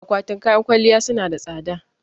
Akwatin kayan kwalliya su na da tsada